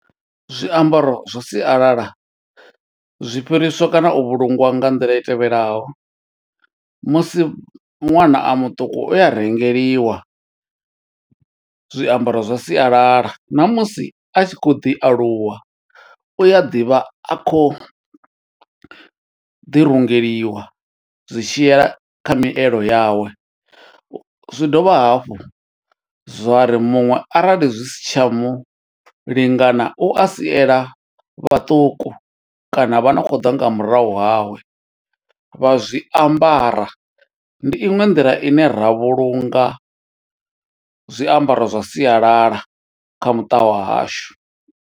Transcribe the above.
Zwiambaro zwa sialala, zwi fhiriswa kana u vhulungiwa nga nḓila i tevhelaho. Musi ṅwana a muṱuku uya rengeliwa zwiambaro zwa sialala, na musi a tshi khou ḓi aluwa, u a ḓi vha a khou ḓi rungeliwa zwi tshi yela kha mielo yawe. Zwi dovha hafhu zwa ri muṅwe arali zwi si tsha mu lingana, u a siela vhaṱuku kana vha no khou ḓa nga murahu hawe, vha zwi ambara. ndi iṅwe nḓila ine ra vhulunga zwiambaro zwa sialala, kha muṱa wa hashu.